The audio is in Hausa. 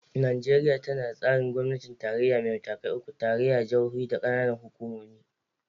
Najeriya tana da tsarin gwamnatin tarayya mai matakai uku: tarayya, jihohi, da kananan hukumomi.